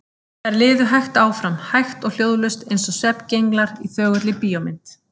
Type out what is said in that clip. Þær liðu hægt áfram, hægt og hljóðlaust, eins og svefngenglar í þögulli bíómynd.